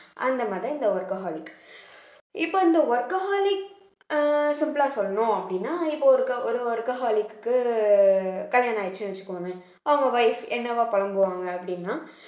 அந்த மாதிரி இந்த workaholic இப்ப இந்த workaholic அஹ் simple ஆ சொல்லணும் அப்படின்னா இப்போ ஒரு ஒரு ஒரு workaholic க்கு கல்யாணம் ஆயிடுச்சுன்னு வச்சுக்கோங்களேன் அவங்க wife என்னவா புலம்புவாங்க அப்படின்னா